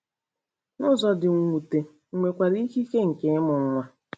N’ụzọ dị mwute, m nwekwara ikike nke ịmụ nwa.